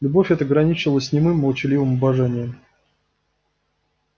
любовь эта граничила с немым молчаливым обожанием